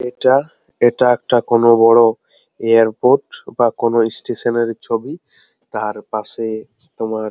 এটাএটা একটা কোনো বড় এয়ারপোর্ট বা কোনো স্টেশন -এর ছবি । তারপাশে তোমার --